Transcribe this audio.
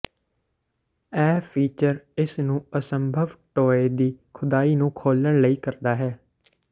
ਇਹ ਫੀਚਰ ਇਸ ਨੂੰ ਅਸੰਭਵ ਟੋਏ ਦੀ ਖੁਦਾਈ ਨੂੰ ਖੋਲ੍ਹਣ ਲਈ ਕਰਦਾ ਹੈ